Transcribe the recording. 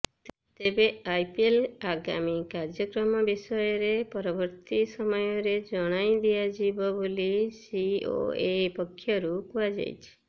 ତେବେ ଆଇପିଏଲର ଆଗାମୀ କାର୍ଯ୍ୟକ୍ରମ ବିଷୟରେ ପରବର୍ତ୍ତୀ ସମୟରେ ଜଣାଇଦିଆଯିବ ବୋଲି ସିଓଏ ପକ୍ଷରୁ କୁହାଯାଇଛି